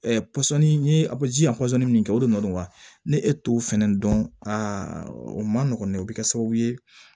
pɔsɔnni n ye pɔsɔn min kɛ o de nɔ don wa ne e t'o fɛnɛ dɔn aa o man nɔgɔ dɛ o bɛ kɛ sababu ye